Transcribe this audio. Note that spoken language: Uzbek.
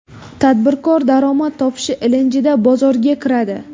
Tadbirkor daromad topish ilinjida bozorga kiradi.